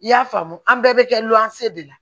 I y'a faamu an bɛɛ bɛ kɛ luwanse de la